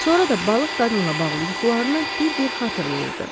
Sonra da balıq qadınla bağlı yuxularını bir-bir xatırlayırdı.